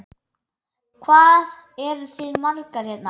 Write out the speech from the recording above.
Hvað eruð þið margir hérna?